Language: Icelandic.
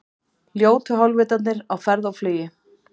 Ljótu hálfvitarnir á ferð og flugi